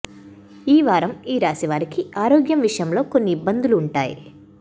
ఈ వారం ఈ రాశి వారికి ఆరోగ్యం విషయంలో కొన్ని ఇబ్బందులు ఉంటాయి